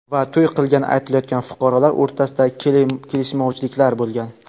va to‘y qilgani aytilayotgan fuqarolar o‘rtasida kelishmovchilik bo‘lgan.